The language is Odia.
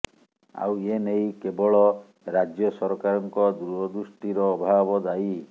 ଆଉ ଏ ନେଇ କେବଳ ରାଜ୍ୟ ସରକାରଙ୍କ ଦୂରଦୃଷ୍ଟିର ଅଭାବ ଦାୟୀ